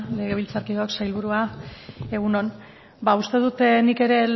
legebiltzarkideok sailburua egun on ba uste dut nik ere